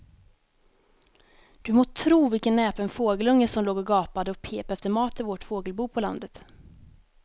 Du må tro vilken näpen fågelunge som låg och gapade och pep efter mat i vårt fågelbo på landet.